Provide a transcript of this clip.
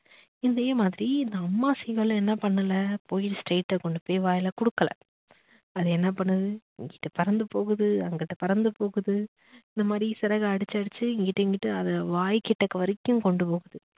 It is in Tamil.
இதே மாதிரி இந்த அம்மா seegal ம் என்ன பண்ணல போய் straight ட்டா கொண்டு போய் வாயில கொடுக்கல. அது என்ன பண்ணுது இங்குட்டு பறந்து போகுது அங்குட்டு பறந்து போகுது இந்த மாதிரி சிறக அடிச்சு அடிச்சு எங்கிட்டு எங்கிட்டு அது வாய் கிட்ட வரைக்கும் கொண்டு போகும்